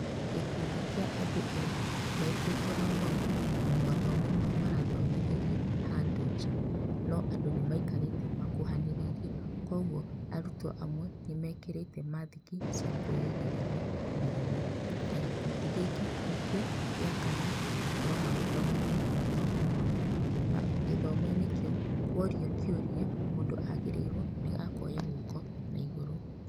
Gĩkundi kĩa andũ ethĩ metĩtwo mathomo na mathomo mau marathomithĩrio handũ nja, no andũ nĩ maikarĩte makuhanĩrĩirie kwoguo arutwo amwe nĩ mekĩrĩte mathiki cia kwĩrigĩrĩria mĩrimũ, na gĩkundi gĩkĩ nĩkĩo gĩa kana gũkorwo magĩthomithio mathomo mau, gĩthomo-inĩ kĩu kworio kĩũria mũndũ agĩrĩirwo nĩ akoya guoko na igũrũ.